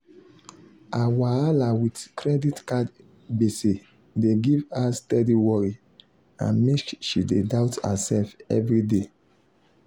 her wahala with credit card gbese dey give her steady worry and make she dey doubt herself every day.